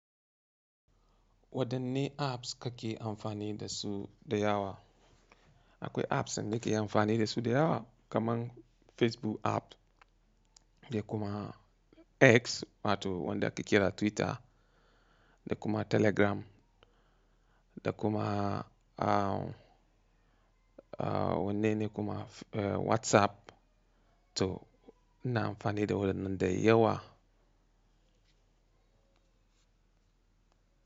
Wadanne apps kake amfani da su da yawa? Akwai apps da nake amfani da su da yawa kamar Facebook app da kuma X wato wanda ake kira Twitter da kuma Telegram da kuma a wane ne kuma WhatsApp to ina amfani da waɗannan da yawa.